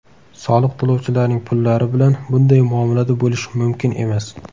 Soliq to‘lovchilarning pullari bilan bunday muomalada bo‘lish mumkin emas.